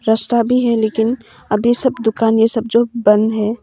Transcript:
रास्ता भी है लेकिन अभी सब दुकान ये सब जो बंद है।